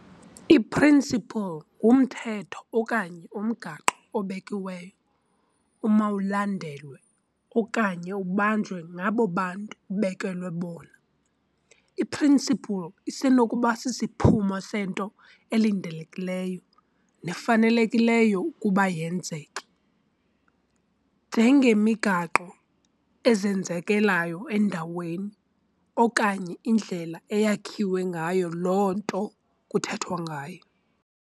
I-"principle" ngumthetho okanye umgaqo obekiweyo omawulandelwe okanye ubanjwe ngabo bantu ubekelwe bona. I-"principle" isenokuba sisiphumo sento elindelekileyo nefanelekileyo ukuba yenzeke, njengemigaqo ezenzekelayo endalweni, okanye indlela eyakhiwe ngayo loo nto kuthethwa ngayo.